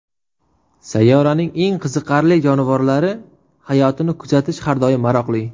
Sayyoraning eng qiziqarli jonivorlari hayotini kuzatish har doim maroqli.